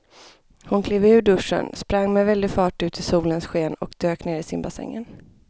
Hon klev ur duschen, sprang med väldig fart ut i solens sken och dök ner i simbassängen.